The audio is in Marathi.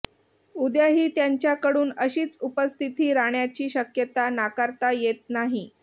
उद्याही त्यांच्याकडून अशीच उपस्थिती रहाण्याची शक्यता नाकारता येत नाही